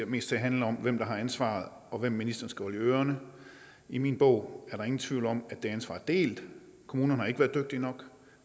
mest til at handle om hvem der har ansvaret og hvem ministeren skal holde i ørerne i min bog er der ingen tvivl om at det ansvar er delt kommunerne har ikke været dygtige nok